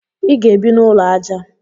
Ị ga-ebi n'ụlọ aja